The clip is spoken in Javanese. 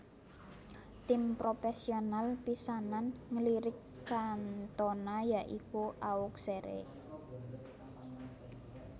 Tim propesional pisanan nglirik Cantona ya iku Auxerre